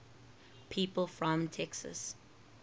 people from texas